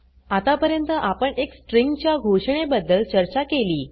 आता पर्यंत आपण एक स्ट्रिंग च्या घोषणे बद्दल चर्चा केली